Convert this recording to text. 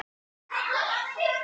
Holt menn áður nefndu skóg.